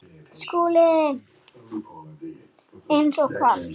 SKÚLI: Eins og hvað?